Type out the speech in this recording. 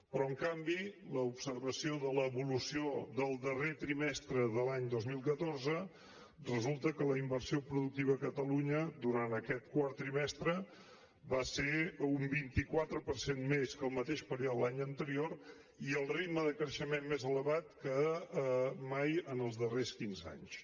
però en canvi de l’observació de l’evolució del darrer trimestre de l’any dos mil catorze resulta que la inversió productiva a catalunya durant aquest quart trimestre va ser un vint quatre per cent més que el mateix període de l’any anterior i el ritme de creixement més elevat que mai en els darrers quinze anys